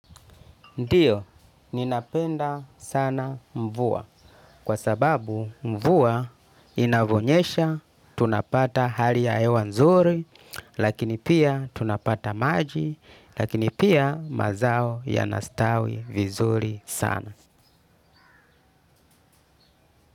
Ndiyo, ninapenda sana mvua kwa sababu mvua inavonyesha, tunapata hali ya ewanzuri, lakini pia tunapata maji, lakini pia mazao yanastawi vizuri sana.